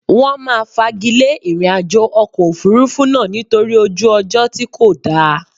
Wọn máa fagilé ìrìnàjò ọkọ̀ Òfurufú náà nítorí ojú ọjọ́ tí kò dáa.